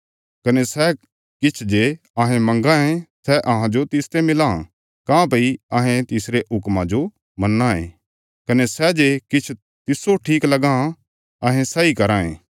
कने सै किछ जे अहें परमेशरा ते मंगां ये सै अहांजो तिसते मिलां काँह्भई अहें तिसरे हुक्मां जो मन्नां यें कने सै जे किछ तिस्सो ठीक लगां अहें सैई कराँ ये